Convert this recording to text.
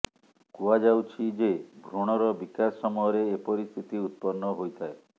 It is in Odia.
କୁହାଯାଉଛି ଯେ ଭୃଣର ବିକାଶ ସମୟରେ ଏପରି ସ୍ଥିତି ଉତ୍ପନ୍ନ ହୋଇଥାଏ